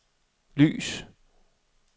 lys